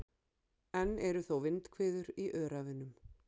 Enn eru þó vindhviður í Öræfunum